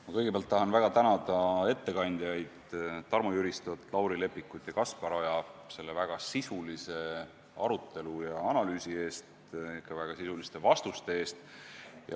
Ma kõigepealt tänan väga ettekandjaid Tarmo Jüristot, Lauri Leppikut ja Kaspar Oja väga sisulise arutelu ja analüüsi eest, samuti väga sisuliste vastuste eest.